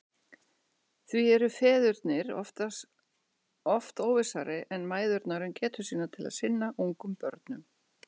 Því eru feðurnir oft óvissari en mæðurnar um getu sína til að sinna ungum börnum.